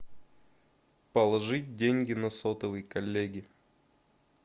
положить деньги на сотовый коллеги